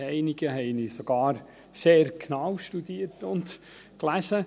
einige haben ihn sogar sehr genau studiert und gelesen.